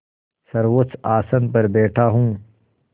सर्वोच्च आसन पर बैठा हूँ